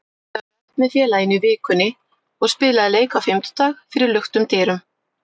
Hann hefur æft með félaginu í vikunni og spilaði leik á fimmtudag fyrir luktum dyrum.